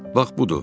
Bax budur.